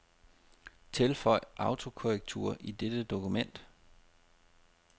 Tilføj autokorrektur i dette dokument.